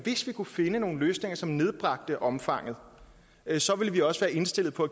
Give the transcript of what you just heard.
kunne finde nogle løsninger som nedbragte omfanget så ville vi også være indstillet på